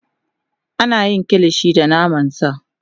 Ana yin Kilishi da naman sa